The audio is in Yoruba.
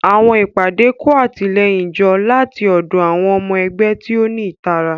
Àwọn ìpàdé kó àtìlẹ́yìn jọ láti ọ̀dọ̀ àwọn ọmọ ẹgbẹ́ tí ó ní ìtara.